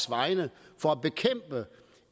vegne for at bekæmpe